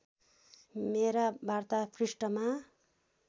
मेरा वार्ता पृष्ठमा